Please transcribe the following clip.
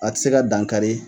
A tɛ se ka dankari